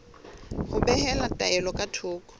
ho behela taelo ka thoko